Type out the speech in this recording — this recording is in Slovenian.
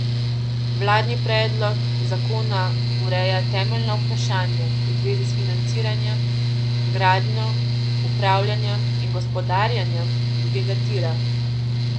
Vladni predlog zakona ureja temeljna vprašanja v zvezi s financiranjem, gradnjo, upravljanjem in gospodarjenjem drugega tira.